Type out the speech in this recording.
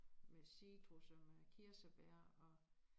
Med citrus og med kirsebær og